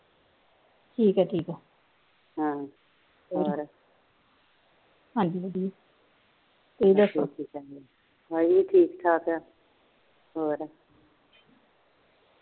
ਤੁਸੀ ਦੱਸੋ ਅਸੀ ਵੀ ਠੀਕ ਠਾਕ ਆ ਹੋਰ